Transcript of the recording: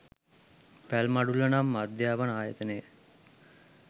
පැල්මඩුල්ල නම් අධ්‍යාපන ආයතනය